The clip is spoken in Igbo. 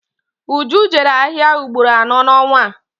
Uju jere ahịa ugboro anọ n'ọnwa a